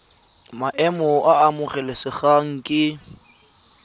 maemo a a amogelesegang ke